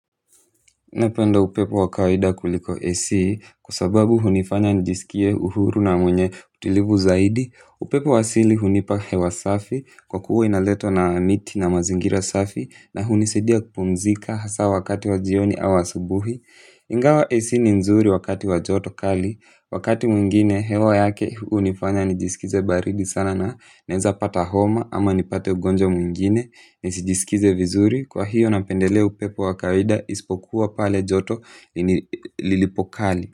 Napenda upepo wa kawaida kuliko AC kwa sababu hunifanya nijisikie uhuru na mwenye utulivu zaidi, upepo wa asili hunipa hewa safi kwa kuwa unaleta amani na mazingira safi na hunisaidia kupumzika hasa wakati wa jioni au asubuhi. Ingawa AC ni nzuri wakati wa joto kali, wakati mwingine hewa yake hunifanya nijisikize baridi sana na naweza pata homa ama nipate ugonjwa mwingine. Nijisikie vizuri, kwa hiyo napendelea upepo wa kawaida isipokuwa pale joto lilipo kali.